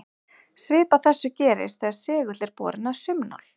Svipað þessu gerist þegar segull er borinn að saumnál.